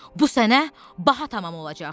Bu sənə baha tamam olacaq.